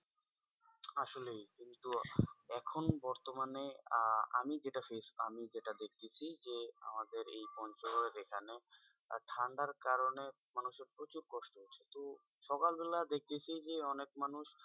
আসলেই কিন্তু এখন বর্তমানে আহ আমি যেটা face আমি যেটা দেখতাছি যে আমাদের এই পঞ্চগড়ের এখানে ঠান্ডার কারণে মানুষজন প্রচুর কষ্ট পাচ্ছে তো সকালবেলা দেখতাছি যে অনেক মানুষ,